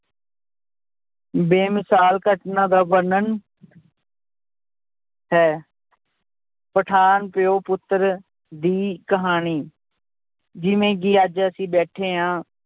ਬੇਮਿਸ਼ਾਲ ਘਟਨਾ ਦਾ ਵਰਣਨ ਹੈ ਪਠਾਨ ਪਿਓ ਪੁੱਤਰ ਦੀ ਕਹਾਣੀ, ਜਿਵੇਂ ਕਿ ਅੱਜ ਅਸੀਂ ਬੈਠੇ ਹਾਂ